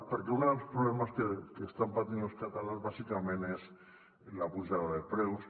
perquè un dels problemes que estan patint els catalans bàsicament és la pujada de preus